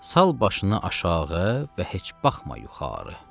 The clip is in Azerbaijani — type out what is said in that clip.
Sal başını aşağı və heç baxma yuxarı.